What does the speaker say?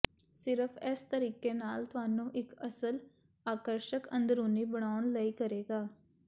ਸਿਰਫ਼ ਇਸ ਤਰੀਕੇ ਨਾਲ ਤੁਹਾਨੂੰ ਇੱਕ ਅਸਲ ਆਕਰਸ਼ਕ ਅੰਦਰੂਨੀ ਬਣਾਉਣ ਲਈ ਕਰੇਗਾ